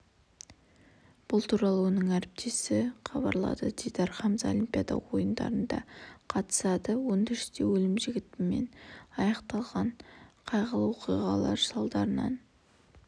бұл туралы оның әріптесі хабарлаады дидар хамза олимпиада ойындарына қатысады өндірісте өлім-жітіммен аяқталған қайғылы оқиғалар салдарынан